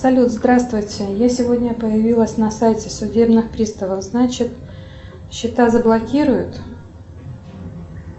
салют здравствуйте я сегодня появилась на сайте судебных приставов значит счета заблокируют